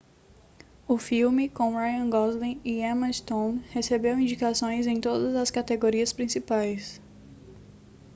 o filme com ryan gosling e emma stone recebeu indicações em todas as categorias principais